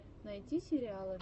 найти сериалы